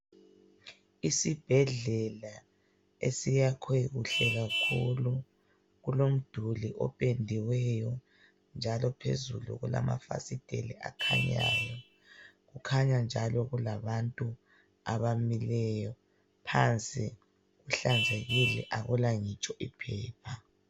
Isibhedlela esiyakhwe kuhle kakhulu. Kulomduli opendiweyo njalo phezulu kulamafasiteli akhanyayo. Kukhanya njalo kulabantu abamileyo. Phansi kuhlanzekile akula ngitsho iphepha.